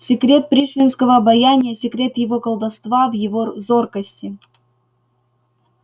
секрет пришвинского обаяния секрет его колдовства в его зоркости